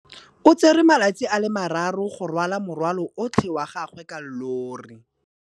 O tsere malatsi a le marraro go rwala morwalo otlhe wa gagwe ka llori.